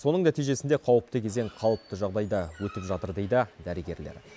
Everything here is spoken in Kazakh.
соның нәтижесінде қауіпті кезең қалыпты жағдайда өтіп жатыр дейді дәрігерлер